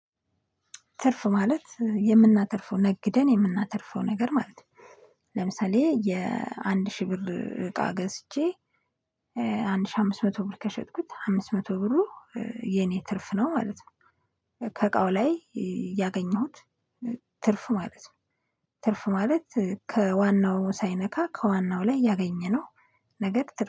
ትርፍ ማለት የምናተርፈው ነግደን የምናተርፈው ነገር ማለት ነው። ለምሳሌ የአንድ ሺህ ብር እቃ ገዝቼ አንድ ሺህ አምስት መቶ ብር ከሸጥኩት አምስት መቶ ብሩ የኔ ትርፍ ነው ማለት ነው። ከእቃው ላይ ያገኘሁት ትርፍ ማለት ነው። ትርፍ ማለት ከዋናው ሳይነካ ከዋናው ላይ ያገኘነው። ነገር